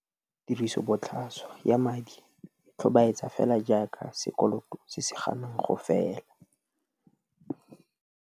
Tirisobotlhaswa ya madi e tlhobaetsa fela jaaka sekoloto se se ganang go fela.